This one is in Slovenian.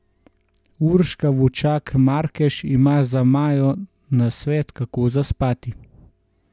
Urška Vučak Markež ima za Majo nasvet kako zaspati.